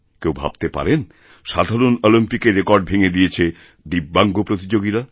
কেউ ভাবতে পারেন সাধারণঅলিম্পিকের রেকর্ড ভেঙ্গে দিয়েছেন দিব্যাঙ্গ প্রতিযোগীরা